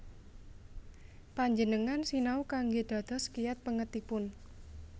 Panjenengan sinau kanggé dados kiyat pèngetipun